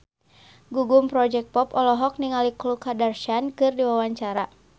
Gugum Project Pop olohok ningali Khloe Kardashian keur diwawancara